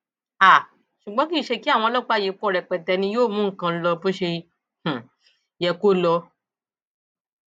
um ṣùgbọn kì í ṣe kí àwọn ọlọpàá yìí pọ rẹpẹtẹ ni yóò mú nǹkan lọ bó ṣe um yẹ kó lọ